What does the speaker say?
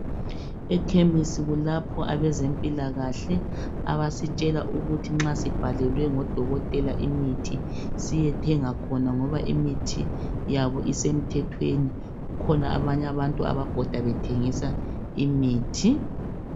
Ekhemisi kulapho abazempilakahle abasitshela ukuthi nxa sibhalelwe ngodokotela imithi siyethenga khona ngoba imithi yabo isemthethweni kukhona abanye abantu ababhoda bethengisa imithi